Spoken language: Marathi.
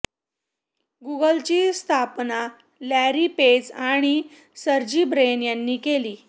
गुगलची स्थापना लॅरी पेज आणि सर्जी ब्रेन यांनी केली